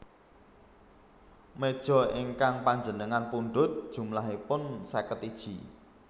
Mejo ingkang panjenengan pundhut jumlahipun seket iji